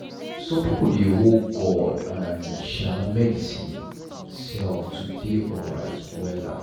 some people dey hold god and um medicine um to dey alright wella.